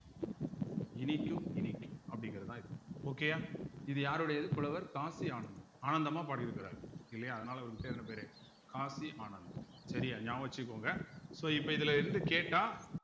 இனிக்கும் இனிக்கும் அப்படிங்கிறதுதான் இது okay யா இது யாருடையது புலவர் காசி ஆனந்த் ஆனந்தமா பாடியிருக்கிறார் இல்லையா அதனால அவருக்கு பேர் என்ன பேரு காசி ஆனந்த் சரியா ஞாபகம் வச்சுக்கோங்க so இப்ப இதுல இருந்து கேட்டா